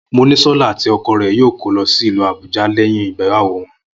Monísó̩lá àti o̩ko̩ rè̩ yóò kó lo̩ sí ìlú Àbúja lé̩yìn ìgbéyàwó wo̩n